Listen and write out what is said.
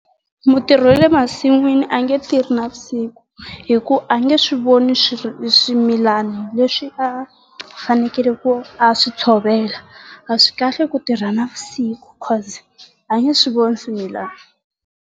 Mutirhi wa le masin'wini a nge tirhi navusiku hi ku a nge swi voni swimilana leswi a fanekele ku a swi tshovela. A swi kahle ku tirha navusiku cause a nge swi voni swimilana.